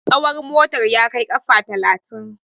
tsahon motar ya Kaiw kafa talatin